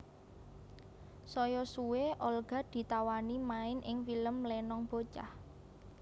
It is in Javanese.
Saya suwe Olga ditawani main ing film Lenong Bocah